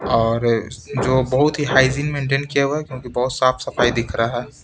और जो बहुत ही हाइजीन मेंटेन किया हुआ है क्योंकि बहुत साफ सफाई दिख रहा है।